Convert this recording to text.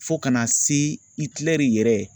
Fo ka na se Itilɛri yɛrɛ